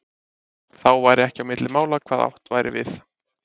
Þá færi ekki á milli mála hvað átt væri við.